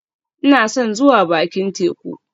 Ina son zuwa bakin teku